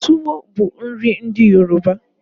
Tuwo bu nri ndi Yoruba